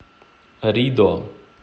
ридо